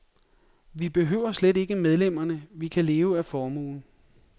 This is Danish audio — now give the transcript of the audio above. Vi behøver slet ikke medlemmerne, vi kan leve af formuen.